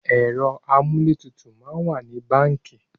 Ẹ̀rọ amúlétutù máa ń wà nínú báńkì